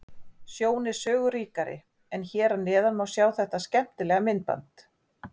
Sjón er sögu ríkari en hér að neðan má sjá þetta skemmtilega myndband.